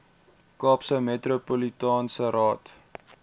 kaapse metropolitaanse raad